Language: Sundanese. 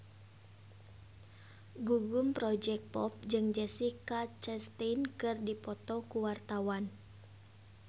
Gugum Project Pop jeung Jessica Chastain keur dipoto ku wartawan